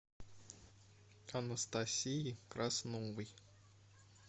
анастасии красновой